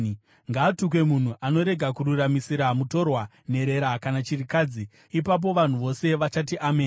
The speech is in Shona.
“Ngaatukwe munhu anorega kururamisira mutorwa, nherera kana chirikadzi.” Ipapo vanhu vose vachati, “Ameni!”